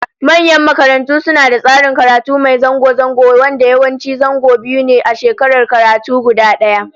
Manyan makarantu suna da tsarin karatu mai zango zango, wanda yawanci zango biyu ne a shekarar karatu guda daya